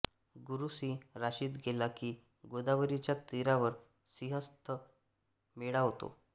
गुरू सिंह राशीत गेला की गोदावरीच्या तीरावर सिंहस्थ मेळा होतो